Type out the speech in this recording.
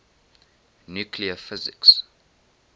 nuclear physics